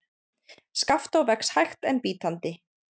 Skaftá vex hægt en bítandi.